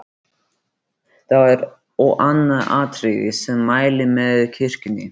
Þá er og annað atriði, sem mælir með kirkjunni.